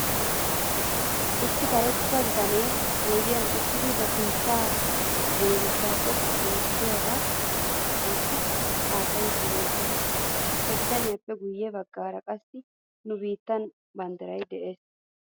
Issi karetta bitanee oydiyan uttidi ba sinttan cenggursaa xoqqu oottiyaagaa wottidi haasayiiddi beetes. He bitaniyaappe guyye bagaara qassi nu biittaa bandditay de'es.